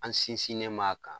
An sinsinen m'a kan.